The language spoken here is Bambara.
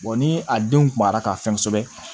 ni a denw kumara ka fɛn kosɛbɛ